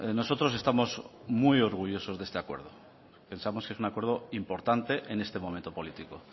nosotros estamos muy orgullosos de este acuerdo pensamos que es un acuerdo importante en este momento político